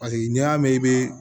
Paseke n'i y'a mɛn i bɛ